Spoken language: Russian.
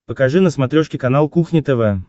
покажи на смотрешке канал кухня тв